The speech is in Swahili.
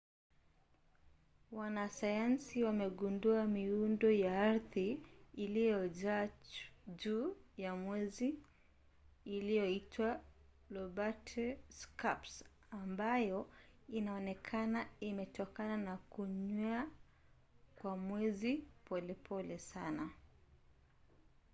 wanasayansi wamegundua miundo ya ardhi iliyojaa juu ya mwezi inayoitwa lobate scarps ambayo inaonekana imetokana na kunywea kwa mwezi polepole sana